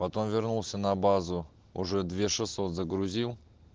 потом вернулся на базу уже две шесот загрузил